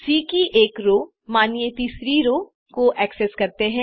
सी की एक रो मानिए तीसरी रो को एक्सेस करते हैं